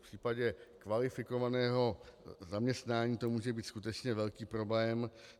V případě kvalifikovaného zaměstnání to může být skutečně velký problém.